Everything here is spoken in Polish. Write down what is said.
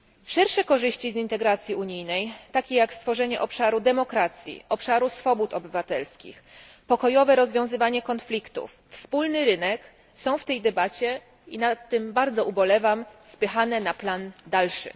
Szersze korzyści z integracji unijnej, takie jak stworzenie obszaru demokracji, obszaru swobód obywatelskich, pokojowe rozwiązywanie konfliktów, wspólny rynek, są w tej debacie, i nad tym bardzo ubolewam, spychane na plan dalszy.